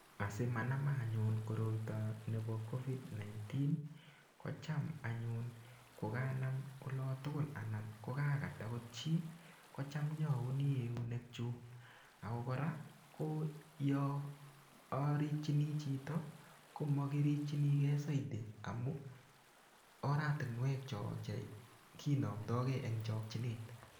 Asimanama anyun koito nebo covid19, kocham anyun koganam olatugul anan ko kagat agot chi, kocham inyauni eunekchuk ago kora ko yoarikchini chito, komagirikchinige saiti amu oratinwek cho che kinamndage eng chokchinet.